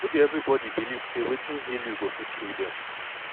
no be everybody believe say wetin heal you go fit heal dem